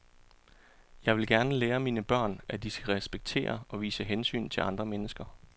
Jeg vil gerne lære mine børn, at de skal respektere og vise hensyn til andre mennesker.